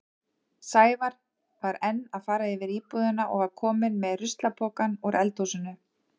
Sævar var enn að fara yfir íbúðina og var kominn með ruslapokann úr eldhúsinu.